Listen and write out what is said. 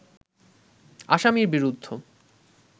আসামির বিরুদ্ধ